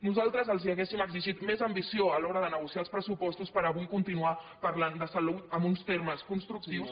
nosaltres els hauríem exigit més ambició a l’hora de negociar els pressupostos per avui continuar parlant de salut en uns termes constructius